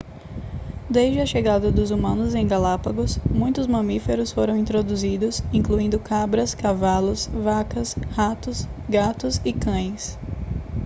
desde a chegada dos humanos em galápagos muitos mamíferos foram introduzidos incluindo cabras cavalos vacas ratos gatos e cães